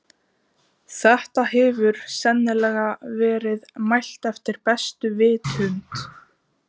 Þetta hefur sennilega verið mælt eftir bestu vitund.